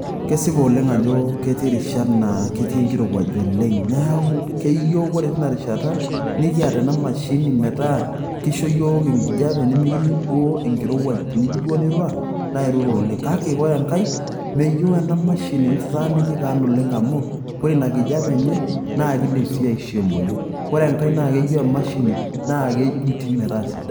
Kesipa oleng' ajo ketii irishat naatii enkirowuaj oleng neeku keyieu ore teina rishata nikiata ena mashini metaa keisho yiook enkijape nemikining enkirowuaj teniyieu duoo nirura naa irura oleng' ore enkae meyieu ena mashini netaana oleng' amu ore ina kijape enye naa kin'dim sii aishoo emoyian ore enkae naa kejuti emashini metaa sidai.